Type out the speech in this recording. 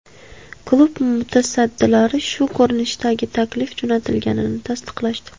Klub mutasaddilari shu ko‘rinishdagi taklif jo‘natilganini tasdiqlashdi.